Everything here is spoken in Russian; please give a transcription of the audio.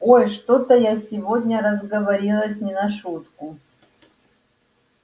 ой что-то я сегодня разговорилась не на шутку